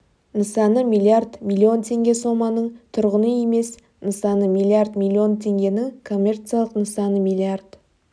нысаны миллиард миллион теңге соманың тұрғын үй емес нысаны миллиард миллион теңгенің коммерциялық нысаны миллиард